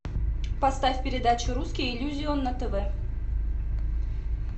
поставь передачу русский иллюзион на тв